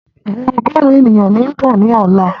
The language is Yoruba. Àwọn ọgọ́rùn ènìyàn ni ó ń bọ̀ ni ọ̀la